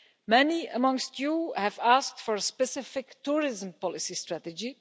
Many amongst you have asked for a specific tourism policy strategy.